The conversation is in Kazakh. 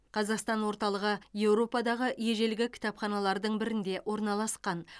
қазақстан орталығы еуропадағы ежелгі кітапханалардың бірінде орналасқан